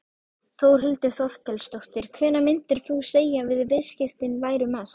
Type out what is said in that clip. Þórhildur Þorkelsdóttir: Hvenær myndir þú segja að viðskiptin væru mest?